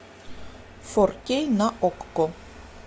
фор кей на окко